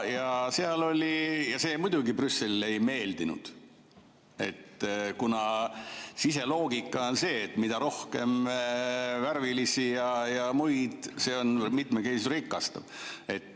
Ja see muidugi Brüsselile ei meeldinud, kuna siseloogika on see, et mida rohkem värvilisi ja muid, – mitmekesisus rikastab.